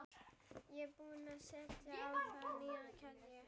Ég er búin að setja á það nýja keðju